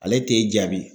Ale t'e jaabi